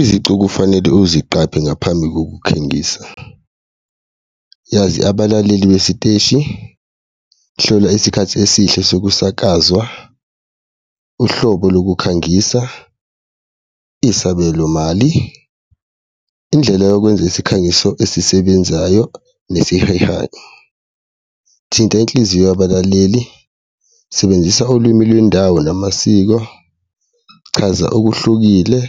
Izici okufanele uziqaphe ngaphambi kokukhengisa, yazi abalaleli besiteshi, hlola isikhathi esihle sokusakazwa, uhlobo lokukhangisa, isabelo mali, indlela yokwenza isikhangiso esisebenzayo nesihehayo, thinta inhliziyo yabalaleli, sebenzisa ulwimi lwendawo namasiko, chaza okuhlukile,